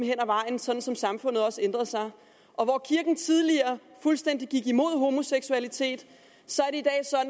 hen ad vejen sådan som samfundet også ændrede sig hvor kirken tidligere fuldstændig gik imod homoseksualitet